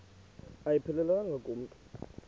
ayiphelelanga ku mntu